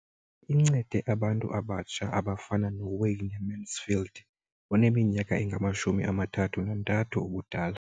Incede abantu abatsha abafana noWayne Mansfield, oneminyaka engama-33 ubudala.